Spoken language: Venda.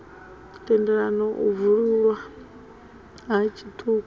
tendelaho u bwululwa ha tshitumbu